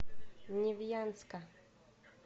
невьянска